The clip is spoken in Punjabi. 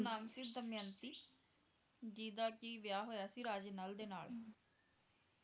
ਓਹਦਾ ਨਾਮ ਸੀ ਦਮਯੰਤੀ ਜਿਸਦਾ ਕਿ ਵਿਆਹ ਹੋਇਆ ਸੀ ਰਾਜੇ ਨਲ ਦੇ ਨਾਲ